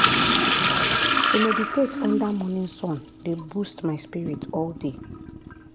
to meditate under morning sun dey boost my spirit all day.